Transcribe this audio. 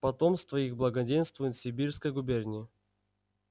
потомство их благоденствует в симбирской губернии